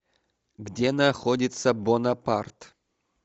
где находится бонапарт